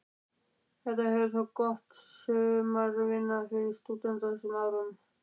Þetta hefur þótt góð sumaratvinna fyrir stúdenta á þessum árum?